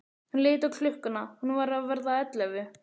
Hann leit á klukkuna, hún var að verða ellefu.